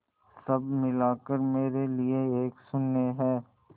सब मिलाकर मेरे लिए एक शून्य है